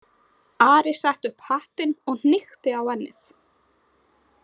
Ari setti upp hattinn og hnykkti á ennið.